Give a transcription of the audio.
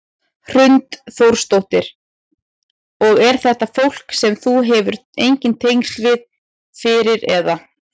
Hrund Þórsdóttir: Og er þetta fólk sem þú hefur engin tengsl við fyrir eða?